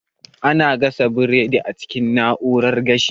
Ana gasa burodi a cikin na'urar gashi